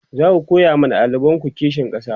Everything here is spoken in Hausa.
zaku koya ma ɗalibanku kishin ƙasa?